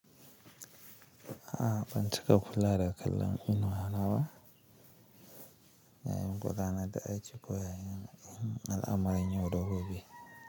A, ban taɓa kula da kallon inuwa ba yayi mun godana da ice kuwa, in Allah mara in yau da gobe.